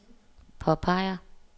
påpeger